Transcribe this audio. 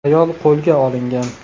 Ayol qo‘lga olingan.